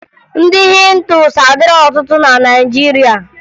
Ndị Hịndu adịghị ọtụtụ na Naịjirịa